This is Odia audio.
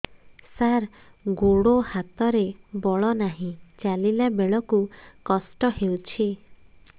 ସାର ଗୋଡୋ ହାତରେ ବଳ ନାହିଁ ଚାଲିଲା ବେଳକୁ କଷ୍ଟ ହେଉଛି